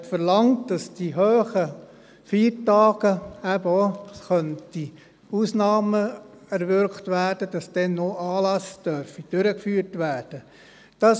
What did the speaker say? Sie verlangt, dass für die hohen Feiertage Ausnahmen erwirkt werden und dann auch Anlässe durchgeführt werden dürfen.